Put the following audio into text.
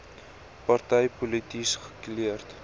party polities gekleurd